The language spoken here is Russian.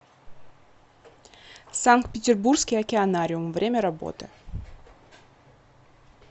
санкт петербургский океанариум время работы